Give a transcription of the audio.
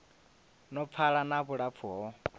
no pfala na vhulapfu ho